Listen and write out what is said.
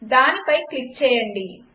దానిపై క్లిక్ చేయండి